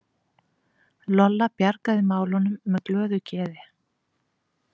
Lolla bjargaði málunum með glöðu geði.